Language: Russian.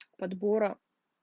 подбора